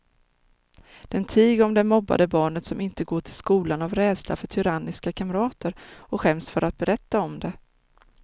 Den tiger om det mobbade barnet som inte går till skolan av rädsla för tyranniska kamrater och skäms för att berätta om det.